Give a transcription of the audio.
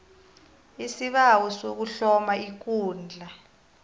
isibawo sokuhloma ikundla